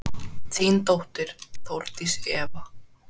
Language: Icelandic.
Þín dóttir, Þórdís Eva.